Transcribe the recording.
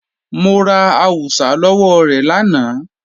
Mo ra àwùsá lọ́wọ́ rẹ̀ lánàá